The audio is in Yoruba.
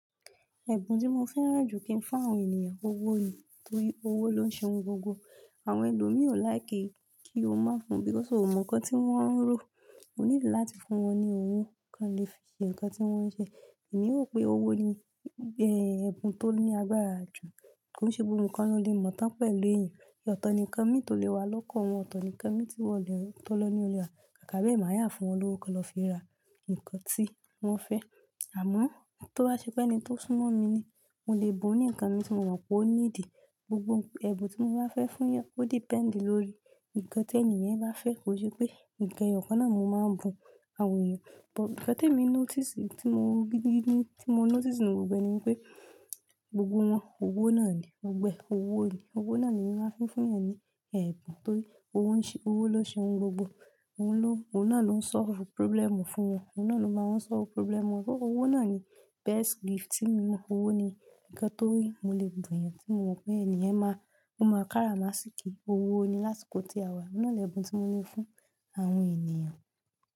Ẹ̀bùn tí mo fẹ́ràn jù kí n fún àwọn ènìyàn, owó ni. Torí owó ló ń ṣe ohun gbogbo. Àwọn ẹlòmíì ò láìkí kí o máa fún lowo, so ò mọ nkan tí wọ́n ń ro. O nílò láti fún wọn ní owó kí wọ́n le fi ṣe nǹkan tí wọ́n ń ṣe. Èmi rò pé owó ni, ẹ́, ẹ̀bùn tó ní agbára jù. Kò se gbogbo ikan ló lè mọ̀ tán pẹ̀lú èyàn. Ọ̀tọ̀ ni nkan mí tó lè wá lọ́kan wọn, ọ̀tọ̀ ni nkan mí tí wọn tó lọ ní olo ra. Kàkà be èmi a yà fún wọn lówó kí wọn lọ fi ra nǹkan tí wọ́n fẹ́. Àmọ́ tó bá ṣe pé ẹni tó súnmọ́ mi ni, mo lè bu ní nǹkan mi tí mo mọ̀ pé ó níidí. Gbogbo ẹ̀bùn tí mo bá fẹ́ fún yàn, ó depend lórí nǹkan tí ènì yen bá fẹ́. Kò n ṣe pé nǹkan eyọ̀kan náà ni mo máa bu àwọn èyàn. Nkan tí mo ti mọ̀ gidi gidi ni pé gbogbo wọn, owó náà ni. Gbogbo ẹ owó ni. Owó náà ni mo máa fi fún yàn ní ẹ̀bùn torí owó ń ṣe, owó ló ń ṣe ohun gbogbo. Ohun náà ló ń solve problem fún wọn. Ohun náà ló máa ń solve problem wọn. Owó náà ni best gift tí mo mọ̀. Owó ni nǹkan tó rí mo lè bu ènìyàn tí mo mọ̀ pé ènìyen máa, ó máa kára má sì kí i. Owó ni lási kò tí a wà. Ọ̀un nà lẹ̀bùn tí mo ní fún àwọn ènìyàn.